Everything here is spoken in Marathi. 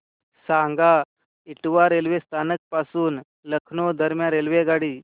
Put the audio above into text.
सांगा इटावा रेल्वे स्थानक पासून लखनौ दरम्यान रेल्वेगाडी